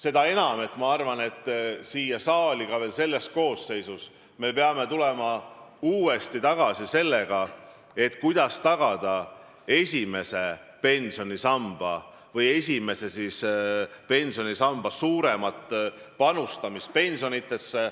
Tegelikult ma arvan, et veel selles koosseisus me peame tulema uuesti tagasi selle juurde, kuidas tagada esimese pensionisamba suuremat panustamist pensionidesse.